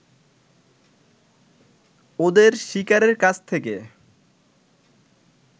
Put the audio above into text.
ওদের শিকারের কাছ থেকে